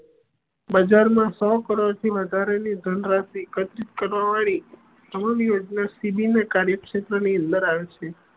બજાર મા સૌ કરોડ થી વધારાની ધન રાશી એક્ત્રિત કરવા વાડી સી બી ના કાર્યક્ષેત્ર ની અંદર આવે છે